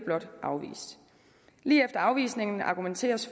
afvist lige efter afvisningen argumenteres